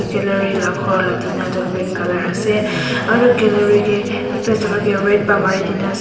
gallery lah ghor lah tina tu green colour ase aru gallery ke eta cholai ke red pa mari ke na as--